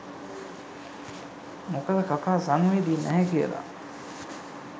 මොකද කකා සංවේදී නැහැ කියලා